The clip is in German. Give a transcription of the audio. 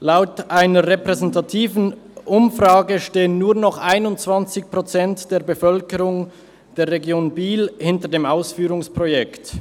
Laut einer repräsentativen Umfrage stehen nur noch 21 Prozent der Bevölkerung der Region Biel hinter dem Ausführungsprojekt.